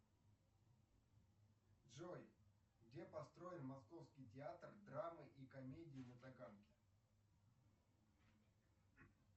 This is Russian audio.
джой где построен московский театр драмы и комедии на таганке